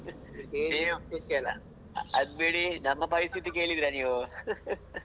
ಅದ್ಬಿಡಿ ನಮ್ಮ ಪರಿಸ್ಥಿತಿ ಕೇಳಿದ್ರ ನೀವು